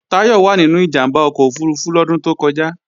Táyọ̀ wà nínú ìjàmbá ọkọ̀ òfurufú lọ́dún tó kọjá